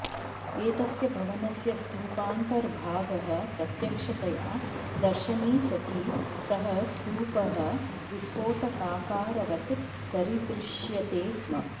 एतस्य भवनस्य स्तूपान्तर्भागः प्रत्यक्षतया दर्शने सति सः स्तूपः विस्फोटकाकारवत् दरीदृश्यते स्म